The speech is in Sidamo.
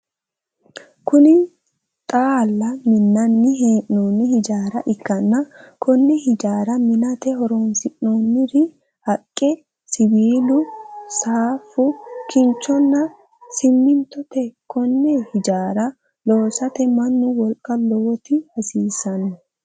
Kunni xaala minnanni hee'noonni hijaara ikanna konne hijaara minnate horoonsi'noonniri haqe, siwiilu, saafu, kinchonna simintote. Konne hijaara loosate mannu wolqa lowoti hasiisano.